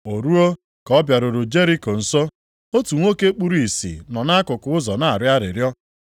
O ruo ka ọ bịaruru Jeriko nso, otu nwoke kpuru ìsì nọ nʼakụkụ ụzọ na-arịọ arịrịọ.